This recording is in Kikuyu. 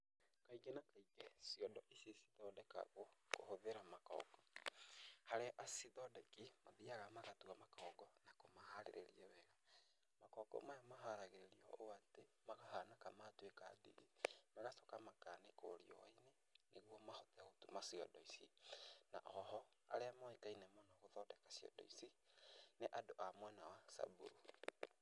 Kaingĩ na kaingĩ ciondo ici cithondekagwo kũhũthĩra makongo. Arĩa acithondeki mathiaga magatua makongo na kũmaharĩrĩria wega. Makongo maya ũũ atĩ makahana ta matuĩka ndigi magacoka makanĩkwo riũa-inĩ nĩguo mahote gũtuma ciondo ici. Na oho arĩa moĩkaine mũno gũthondeka ciondo ici nĩ andũ a mwena wa Samburu.